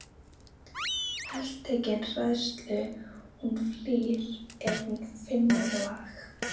Heltekin hræðslu hún flýr er hún finnur lag.